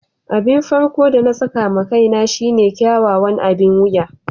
Abin farko'n de na saka ma kaina shine kyakkyawan abin wiya.